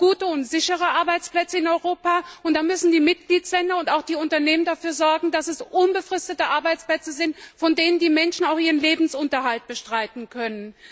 Wir brauchen gute und sichere Arbeitsplätze in Europa, und die Mitgliedstaaten und auch die Unternehmen müssen dafür sorgen, dass es unbefristete Arbeitsplätze sind, mit denen die Menschen ihren Lebensunterhalt bestreiten können.